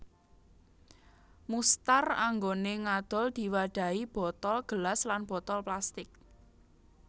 Mustar anggone ngadol diwadhahi botol gelas lan botol plastik